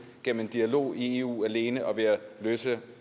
gennem en dialog i eu alene og ved at løse